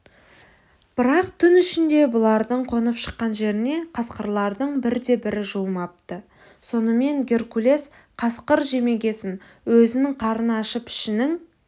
бірақ түн ішінде бұлардың қонып шыққан жеріне қасқырлардың бірде-бірі жуымапты сонымен геркулес қасқыр жемегесін өзінің қарны ашып ішінің